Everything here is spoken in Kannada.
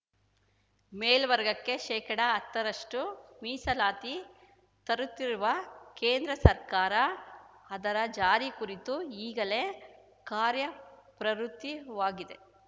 ಮೇಲ್ವರ್ಗಕ್ಕೆ ಶೇಕಡಹತ್ತರಷ್ಟುಮೀಸಲಾತಿ ತರುತ್ತಿರುವ ಕೇಂದ್ರ ಸರ್ಕಾರ ಅದರ ಜಾರಿ ಕುರಿತು ಈಗಲೇ ಕಾರ್ಯಪ್ರವೃತ್ತಿವಾಗಿದೆ